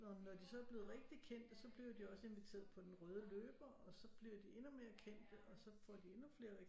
Og når de så er blevet rigtig kendte så bliver de også inviteret på den røde løber og så bliver de endnu mere kendte og så får de endnu flere